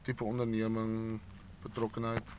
tipe onderneming betrokkenheid